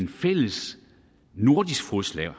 fælles nordisk fodslag